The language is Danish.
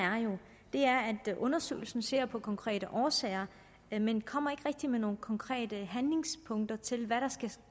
er jo at undersøgelsen ser på konkrete årsager men men kommer ikke rigtig med nogen konkrete handlingspunkter til hvad der skal